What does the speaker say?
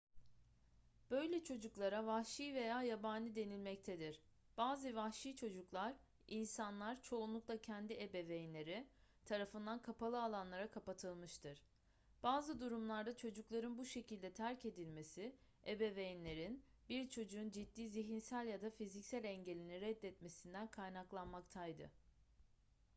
böyle çocuklara vahşi veya yabani denilmektedir. bazı vahşi çocuklar insanlar çoğunlukla kendi ebeveynleri tarafından kapalı alanlara kapatılmıştır. bazı durumlarda çocukların bu şekilde terk edilmesi ebeveynlerin bir çocuğun ciddi zihinsel ya da fiziksel engelini reddetmesinden kaynaklanmaktaydı